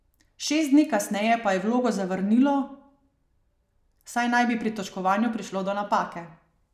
Šest dni kasneje pa je vlogo zavrnilo, saj naj bi pri točkovanju prišlo do napake.